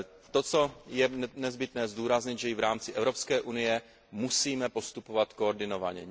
To, co je nezbytné zdůraznit, je, že i v rámci Evropské unie musíme postupovat koordinovaně.